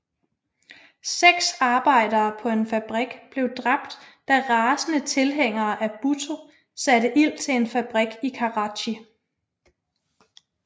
Seks arbejdere på en fabrik blev dræbt da rasende tilhængere af Bhutto satte ild til en fabrik i Karachi